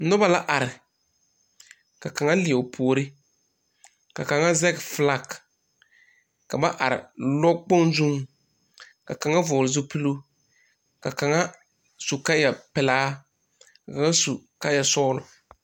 Noba la are ka kaŋa leɛ o puori ka kaŋa zɛge filaki ka ba are lɔɔkpoŋ zuŋ ka kaŋ vɔgle zupiloo ka kaŋa su kaayapelaa ka kaŋa su kaayasɔgla.